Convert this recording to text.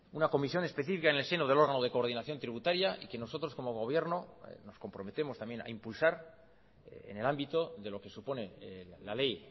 una comisión específica en el seno del órgano de coordinación tributaria y que nosotros como gobierno nos comprometemos también a impulsar en el ámbito de lo que supone la ley